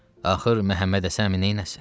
Axır Məmmədhəsəni neyləsin?